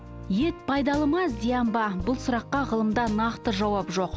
ет пайдалы ма зиян ба бұл сұраққа ғылымда нақты жауап жоқ